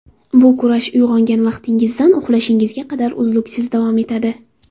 Bu kurash uyg‘ongan vaqtingizdan uxlashingizga qadar uzluksiz davom etadi.